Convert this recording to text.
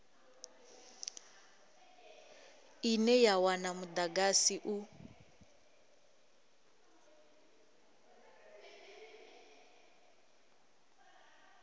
ine ya wana mudagasi u